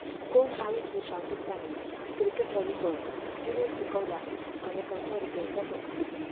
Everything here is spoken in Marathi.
कोण आहे ही पाकिस्तानी 'क्रिकेटवाली गर्ल'?, जिने चुकवला अनेकांच्या हृदयाचा ठोका